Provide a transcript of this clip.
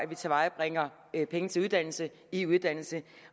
vi tilvejebringer penge til uddannelse i uddannelse